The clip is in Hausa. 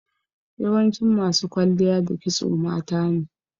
Yawancin masu kwalliya da kisto matane.